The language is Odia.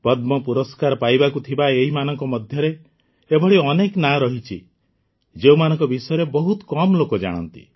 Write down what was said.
ପଦ୍ମ ପୁରସ୍କାର ପାଇବାକୁ ଥିବା ଏହି ମାନଙ୍କ ମଧ୍ୟରେ ଏଭଳି ଅନେକ ନାଁ ରହିଛି ଯେଉଁମାନଙ୍କ ବିଷୟରେ ବହୁତ କମ୍ ଲୋକ ଜାଣନ୍ତି